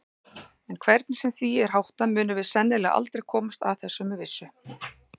En hvernig sem því er háttað munum við sennilega aldrei komast að þessu með vissu.